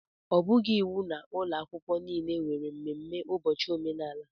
Ọ bụghị iwu na ụlọ akwụkwọ niile nwere mmemme ụbọchị omenala